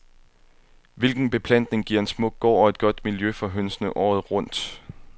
Hvilken beplantning giver en smuk gård og et godt miljø for hønsene året rundt?